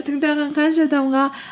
тыңдаған қанша адамға